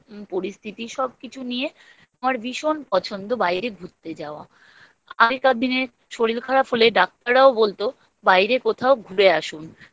পরিস্থিতি সব কিছু নিয়ে আমার ভীষণ পছন্দ বাইরে ঘুরতে যাওয়া। তো আগেকার দিনে শরীর খারাপ হলে ডাক্তাররাও বলতো, বাইরে কোথাও ঘুরে আসুন। change করলে